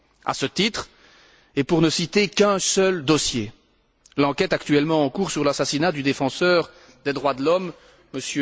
À ce titre, et pour ne citer qu'un seul dossier, l'enquête actuellement en cours sur l'assassinat du défenseur des droits de l'homme, M.